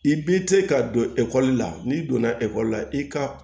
I b'i se ka don ekɔli la n'i donna ekɔli la i ka